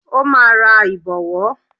Ó máa ra Ìbọ̀wọ́